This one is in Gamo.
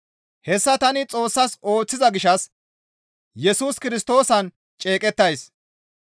Hessa tani Xoossas ooththiza gishshas Yesus Kirstoosan ceeqettays.